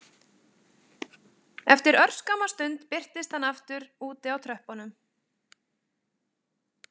Eftir örskamma stund birtist hann aftur úti á tröppunum